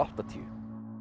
áttatíu